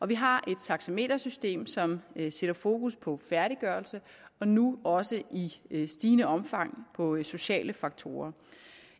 vi har et taxametersystem som sætter fokus på færdiggørelse og nu også i i stigende omfang på sociale faktorer